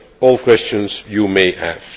all questions you may have.